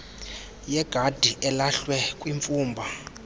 yegadi elahlwe kwimfumba